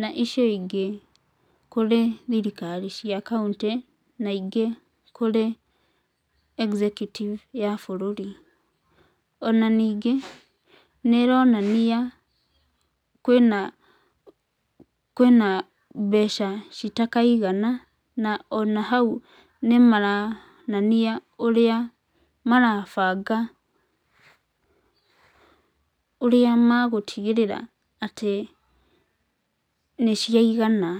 na icio ingĩ kũrĩ thirikari cia kauntĩ na ingĩ kũrĩ executive ya bũrũri. Ona ningĩ, nĩ ĩronania kwĩna mbeca citakaigana na ona hau nĩmaraonania ũrĩa marabanga, ũrĩa megũtigĩrĩra atĩ nĩciaigana.